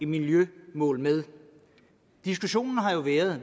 miljømålene med diskussionen har jo været